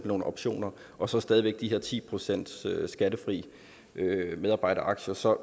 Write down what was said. nogle optioner og så stadig de her ti procent skattefri medarbejderaktier så